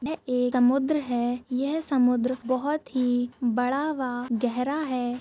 यह एक समुन्द्र है यह समुन्द्र बहुत ही बडा वा गेहरा है।